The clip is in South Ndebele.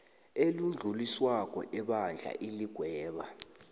elidluliswako ebandla iligweba